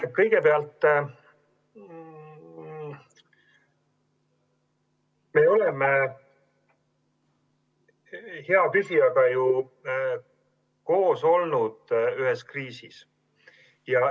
No kõigepealt, me oleme hea küsijaga ju ühes kriisis koos olnud.